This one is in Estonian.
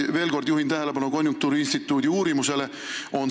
Juhin veel kord tähelepanu konjunktuuriinstituudi uurimusele.